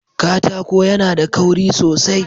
Katako yAna da kauri sosai